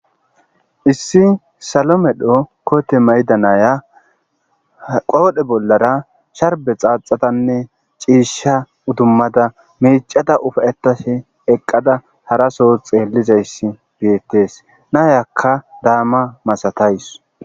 issi salomedho koote maydanaya qoodhe bollara sharbe xaaxatanne ciisha udummada mecada ufayetase eqqada haraso xeellizayss biettees naayakka daama masatays